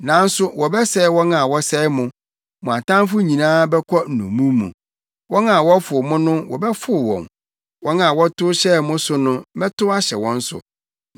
“ ‘Nanso wɔbɛsɛe wɔn a wɔsɛe mo; mo atamfo nyinaa bɛkɔ nnommum mu. Wɔn a wɔfow mo no wɔbɛfow wɔn wɔn a wɔtow hyɛɛ mo so no, mɛtow ahyɛ wɔn so.